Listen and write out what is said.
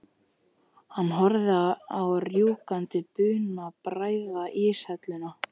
Hann horfir á rjúkandi bununa bræða íshelluna.